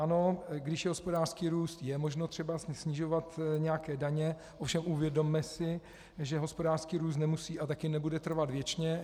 Ano, když je hospodářský růst, je možno třeba snižovat nějaké daně, ovšem uvědomme si, že hospodářský růst nemusí a také nebude trvat věčně.